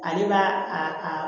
Ale b'a a a